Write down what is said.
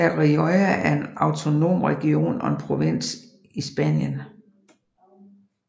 La Rioja er en autonom region og en provins i Spanien